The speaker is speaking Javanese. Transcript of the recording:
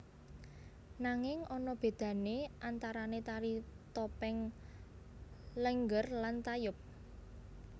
Nanging ana bedane antarane Tari Topeng Lénggér lan Tayub